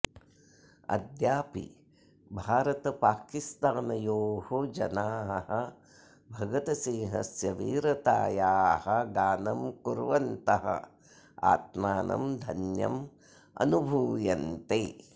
अद्यापि भारतपाकिस्तानयोः जनाः भगतसिंहस्य वीरतायाः गानं कुर्वन्तः आत्मानं धन्यमनुभूयन्ते